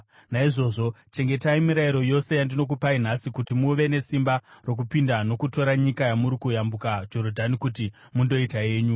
Naizvozvo chengetai mirayiro yose yandinokupai nhasi, kuti muve nesimba rokupinda nokutora nyika yamuri kuyambuka Jorodhani kuti mundoita yenyu,